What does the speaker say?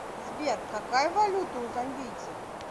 сбер какая валюта у замбийцев